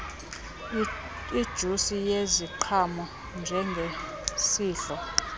ijusi yeziqhamo njengesidlo